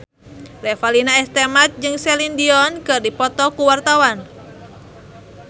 Revalina S. Temat jeung Celine Dion keur dipoto ku wartawan